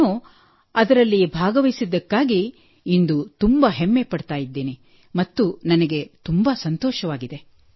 ನಾನು ಅದರಲ್ಲಿ ಭಾಗವಹಿಸಿದ್ದಕ್ಕಾಗಿ ಇಂದು ತುಂಬಾ ಹೆಮ್ಮೆಪಡುತ್ತೇನೆ ಮತ್ತು ನನಗೆ ತುಂಬಾ ಸಂತೋಷವಾಗಿದೆ